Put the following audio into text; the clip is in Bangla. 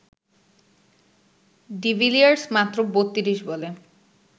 ডিভিলিয়ার্স মাত্র ৩২ বলে